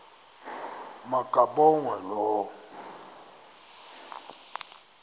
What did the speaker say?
ma kabongwe low